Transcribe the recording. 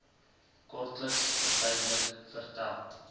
kortliks verduidelik vertel